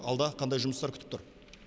алда қандай жұмыстар күтіп тұр